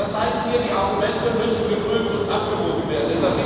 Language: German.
Das heißt hier, die Argumente müssen geprüft und abgewogen werden.